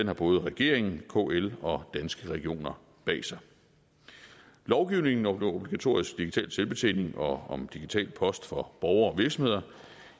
har både regeringen kl og danske regioner bag sig lovgivningen om obligatorisk digital selvbetjening og om digital post for borgere og virksomheder